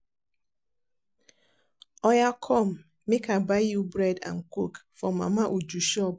Oya come make I buy you bread and coke for Mama Uju shop